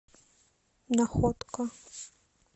находка